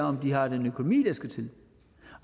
om de har den økonomi der skal til